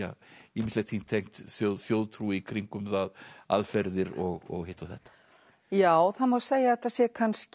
ýmislegt því tengt þjóðtrú í kringum það aðferðir og hitt og þetta já það má segja að þetta sé kannski